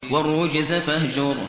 وَالرُّجْزَ فَاهْجُرْ